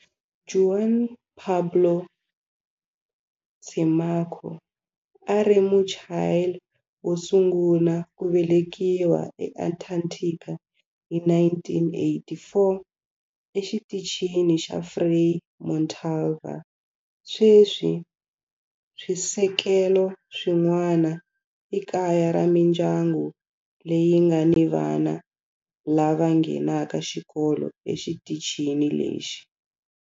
Juan Pablo Camacho a a ri Muchile wo sungula ku velekiwa eAntarctica hi 1984 eXitichini xa Frei Montalva. Sweswi swisekelo swin'wana i kaya ra mindyangu leyi nga ni vana lava nghenaka xikolo exitichini lexi.